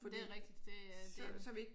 Det er rigtigt det